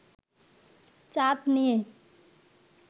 চাঁদ নিয়ে